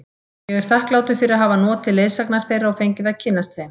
Ég er þakklátur fyrir að hafa notið leiðsagnar þeirra og fengið að kynnast þeim.